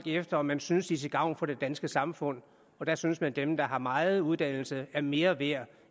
efter om man synes de er til gavn for det danske samfund der synes man at dem der har meget uddannelse er mere værd